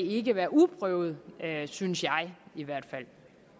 ikke være uprøvet synes jeg i hvert fald